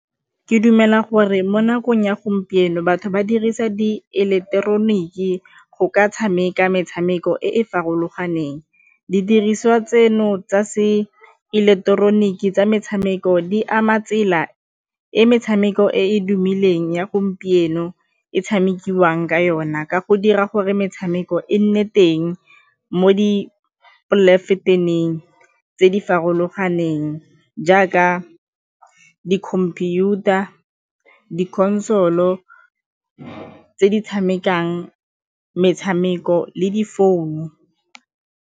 Ke dumela gore mo nakong ya gompieno batho ba dirisa diileketeroniki go ka tshameka metshameko e e farologaneng. Didiriswa tseno tsa se eleketeroniki tsa metshameko di ama tsela e metshameko e e tumileng ya gompieno e tshamekiwang ka yona ka go dira gore metshameko e nne teng mo di tse di neng jaaka di-computer, di-console-o tse di tshamekang metshameko le difounu.